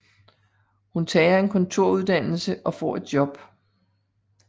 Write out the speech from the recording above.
Hun tager en kontoruddannelse og får et job